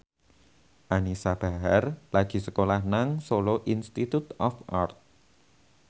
Anisa Bahar lagi sekolah nang Solo Institute of Art